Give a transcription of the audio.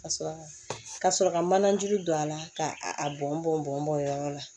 Ka sɔrɔ ka sɔrɔ ka manajuru don a la ka a bɔn bɔn bɔn o yɔrɔ la